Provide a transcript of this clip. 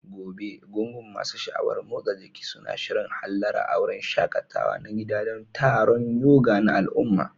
Gobe, gungun masu sha'awar motsa jiki suna shirin hallara a wurin shaƙatawa na gida don taron yoga na al'umma.